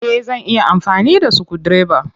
Eh. Zan iya amfani da sukudireba.